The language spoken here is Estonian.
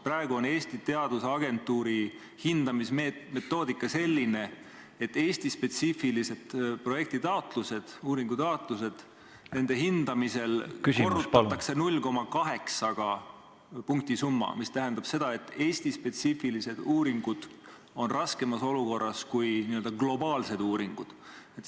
Praegu on Eesti Teadusagentuuri hindamismetoodika selline, et Eesti-spetsiifiliste projektitaotluste, uuringutaotluste hindamisel korrutatakse punktisumma 0,8-ga, mis tähendab seda, et Eesti-spetsiifilised uuringud on raskemas olukorras kui n-ö globaalsed uuringud.